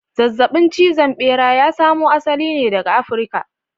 Zazzabin cizon bera ya samo asali ne daga Africa.